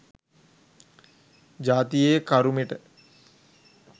ජාතියේ කරුමෙට.